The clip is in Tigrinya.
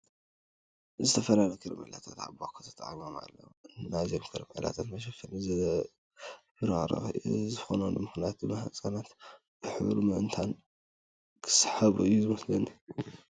ዝተፈላለዩ ከረሜላታት ኣብ ባኮ ተቐሚጦም እኔዉ፡፡ ናይዞም ከረሜላታት መሸፈኒ ዘብረቕርቕ እዩ፡፡ እዚ ዝኾነሉ ምኽንያት ድማ ህፃናት ብሕብሩ ምእንታን ክሰሓቡ እዩ ዝመስለኒ፡፡